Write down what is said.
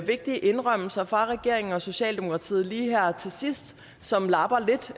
vigtige indrømmelser fra regeringen og socialdemokratiet lige her til sidst som lapper lidt